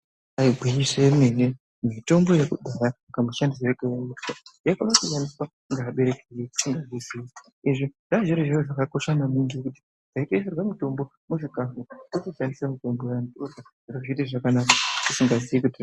Ibari gwinyiso yemene mitombo yekudhaya kamushandisirwo kayaiitwa yaikona kushandiswa nevabereki tisingazvizivi. Izvi zvanga zviri zviro zvakakosha maningi kuti taisirwa mutombo mukati mechikafu totishandisa mutombo uya zviro zvaita zvakanaka tisingazivi kuti.